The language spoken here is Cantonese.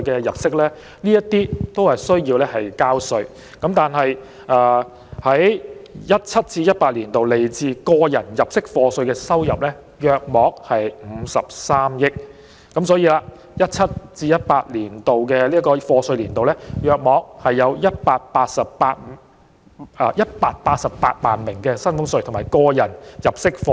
2017-2018 年度來自個人入息課稅的收入約為53億元，也就是說，於 2017-2018 課稅年度，約有188萬名繳納薪俸稅及個人入息課稅。